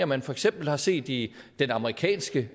man for eksempel har set i den amerikanske